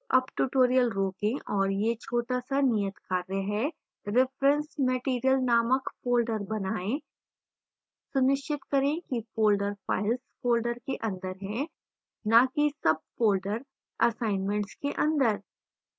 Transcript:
अब tutorial रोकें और यह छोटा now नियतकार्य है: